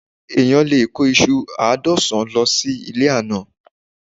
Eniyan lè kó ìṣù àádọ́sán lọ sí ilé àná